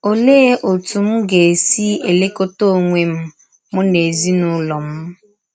Ọlee ọtụ m ga - esi elekọta ọnwe m m na ezinụlọ m?